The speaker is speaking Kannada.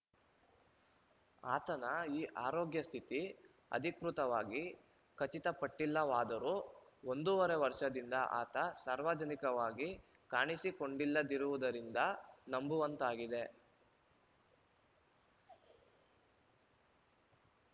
ಆತನ ಈ ಆರೋಗ್ಯ ಸ್ಥಿತಿ ಅಧಿಕೃತವಾಗಿ ಖಚಿತಪಟ್ಟಿಲ್ಲವಾದರೂ ಒಂದೂವರೆ ವರ್ಷದಿಂದ ಆತ ಸಾರ್ವಜನಿಕವಾಗಿ ಕಾಣಿಸಿಕೊಂಡಿಲ್ಲದಿರುವುದರಿಂದ ನಂಬುವಂತಾಗಿದೆ